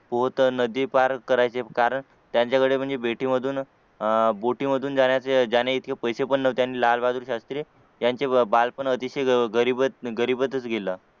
पोहता नदी पार करायचे कारण त्यांच्याकडे म्हणजे बेटीमधून अह बोटीमधून जाण्याइतके पैसे पण नव्हते आणि लाल बहादूर शास्त्री त्यांचे बालपण अतिशय गरीबच गरिबातच गेलं